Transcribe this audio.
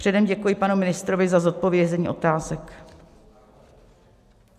Předem děkuji panu ministrovi za zodpovězení otázek.